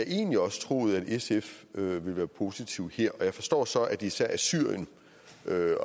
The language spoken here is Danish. egentlig også troet at sf ville være positive her jeg forstår så at det især er syrien